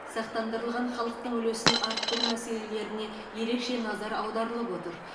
сақтандырылған халықтың үлесін арттыру мәселелеріне ерекше назар аударылып отыр